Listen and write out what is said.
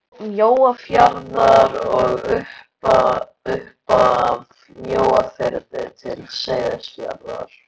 Mjóafjarðar og upp af Mjóafirði til Seyðisfjarðar.